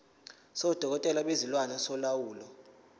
sodokotela bezilwane solawulo